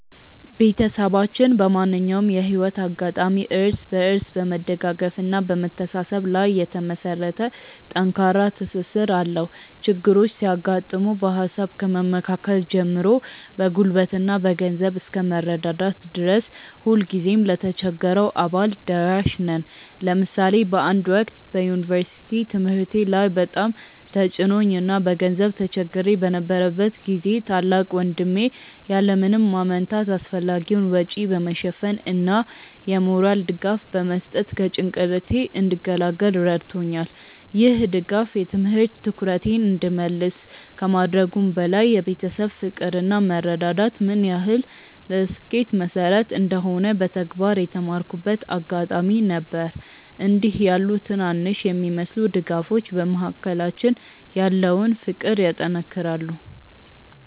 ቤተሰባችን በማንኛውም የህይወት አጋጣሚ እርስ በርስ በመደጋገፍና በመተሳሰብ ላይ የተመሰረተ ጠንካራ ትስስር አለው። ችግሮች ሲያጋጥሙ በሃሳብ ከመመካከር ጀምሮ በጉልበትና በገንዘብ እስከ መረዳዳት ድረስ ሁልጊዜም ለተቸገረው አባል ደራሽ ነን። ለምሳሌ በአንድ ወቅት በዩኒቨርሲቲ ትምህርቴ ላይ በጣም ተጭኖኝ እና በገንዘብ ተቸግሬ በነበረበት ጊዜ ታላቅ ወንድሜ ያለ ምንም ማመንታት አስፈላጊውን ወጪ በመሸፈን እና የሞራል ድጋፍ በመስጠት ከጭንቀቴ እንድገላገል ረድቶኛል። ይህ ድጋፍ የትምህርት ትኩረቴን እንድመልስ ከማድረጉም በላይ የቤተሰብ ፍቅር እና መረዳዳት ምን ያህል ለስኬት መሰረት እንደሆነ በተግባር የተማርኩበት አጋጣሚ ነበር። እንዲህ ያሉ ትናንሽ የሚመስሉ ድጋፎች በመካከላችን ያለውን ፍቅር ያጠናክራሉ።